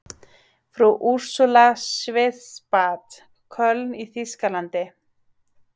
Frú Úrsúla Schwarzbad, Köln í þýskalandi.